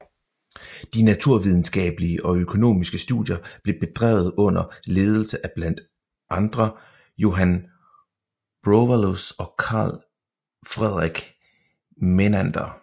De naturvidenskabelige og økonomiske studier blev bedrevet under ledelse af blandt andre Johan Browallius og Karl Fredrik Mennander